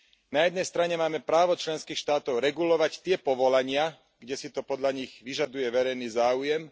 Na jednej strane máme právo členských štátov regulovať tie povolania, kde si to podľa nich vyžaduje verejný záujem.